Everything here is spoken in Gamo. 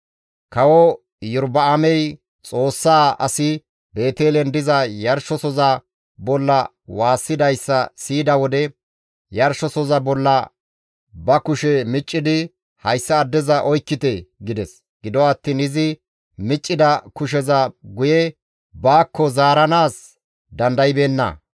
Kawo Iyorba7aamey Xoossaa asi Beetelen diza yarshizasoza bolla waassidayssa siyida wode, yarshizasoza bolla ba kushe miccidi, «Hayssa addeza oykkite!» gides. Gido attiin izi miccida kusheza guye baakko zaaranaas dandaybeenna.